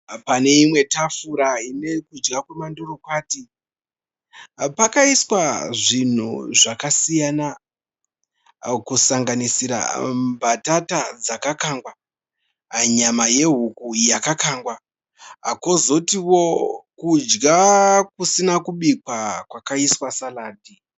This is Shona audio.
Pane imwe tafura ine kudya kwamandorokwati. Pakaiswa zvinhu zvakasiyana kusanganisira mbatata dzakakangwa nyama yehuku yakakangwa kwozotio kudya kusina kubikwa kwakaiswa saradhi.